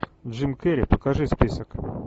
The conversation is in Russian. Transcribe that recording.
джим керри покажи список